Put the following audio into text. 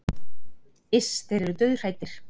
Iss, þeir eru dauðhræddir